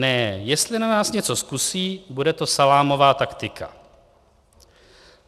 Ne, jestli na nás něco zkusí, bude to salámová taktika."